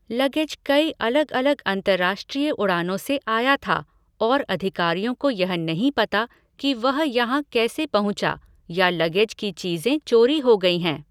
Luggage कई अलग अलग अंतरराष्ट्रीय उड़ानों से आया था और अधिकारियों को यह नहीं पता कि वह यहाँ कैसे पहुँचा या लगेज की चीज़ें चोरी हो गई हैं।